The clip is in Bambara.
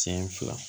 Siɲɛ fila